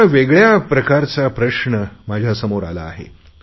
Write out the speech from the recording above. पण मला वेगळया नव्या प्रकारचा प्रश्न समोर आला आहे